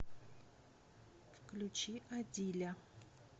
включи адиля